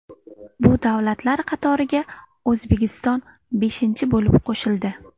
Bu davlatlar qatoriga O‘zbekiston beshinchi bo‘lib qo‘shildi.